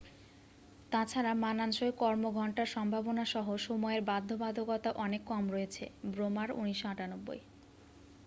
তাছাড়া মানানসই কর্ম ঘন্টার সম্ভাবনাসহ সময়ের বাধ্যবাধকতা অনেক কম রয়েছে। ব্রেমার ১৯৯৮